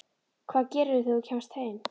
Hvað gerirðu þegar þú kemst heim?